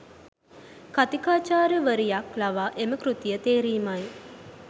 කථිකාචාර්යවරික් ලවා එම කෘතිය තේරීමයි